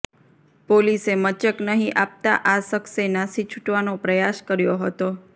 પોલીસે મચક નહી આપતા આ શખસે નાશી છુટવાનો પ્રયાસ કર્યો હતો